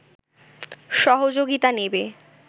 সহযোগিতা নেবে